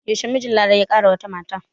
Yaushe mijin Larai ya ƙara wata mata?